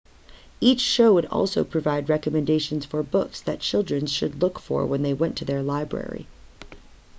each show would also provide recommendations for books that children should look for when they went to their library